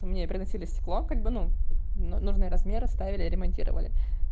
мне приносили стеклом ну как бы ну нужные размеры ставили и ремонтировали